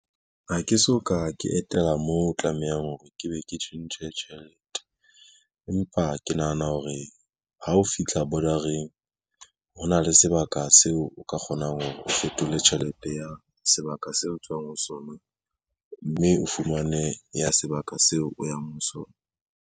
Ha ke so ka ke etela mo tlamehang hore ke be ke tjhentjhe tjhelete, empa ke nahana hore ha o fitlha border-eng hona le sebaka seo o ka kgonang hore o fetole tjhelete ya sebaka seo o tswang ho sona, mme o fumane ya sebaka seo o yang ho sona.